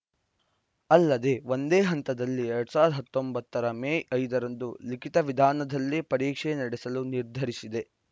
ಅಲ್ಲದೆ ಒಂದೇ ಹಂತದಲ್ಲಿ ಎರಡ್ ಸಾವಿರದ ಹತ್ತೊಂಬತ್ತರ ಮೇ ಐದರಂದು ಲಿಖಿತ ವಿಧಾನದಲ್ಲೇ ಪರೀಕ್ಷೆ ನಡೆಸಲು ನಿರ್ಧರಿಸಿದೆ